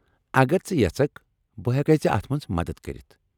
اگر ژٕ یژکھ بہٕ ہٮ۪کیہ ژے اتھ منٛز مدتھ کٔرِتھ ۔